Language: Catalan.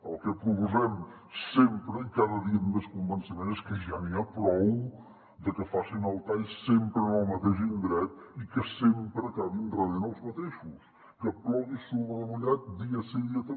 el que proposem sempre i cada dia amb més convenciment és que ja n’hi ha prou de que facin el tall sempre en el mateix indret i que sempre acabin rebent els mateixos que plogui sobre mullat dia sí dia també